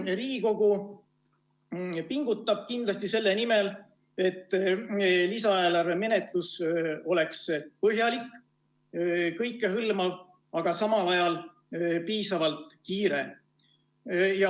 Riigikogu pingutab kindlasti selle nimel, et lisaeelarve menetlus oleks põhjalik, kõikehõlmav, aga samal ajal piisavalt kiire.